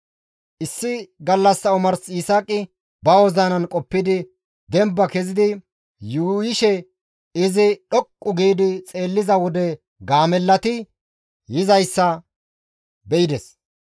Issi gallassa omars Yisaaqi ba wozinan qoppidi demba kezidi yuuyishe izi dhoqqu gi xeelliza wode gaamellati yizayta be7ides.